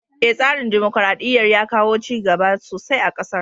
Eh, tsarin dimokuraɗɗiyar ya kawo cigaba sosai a ƙasar.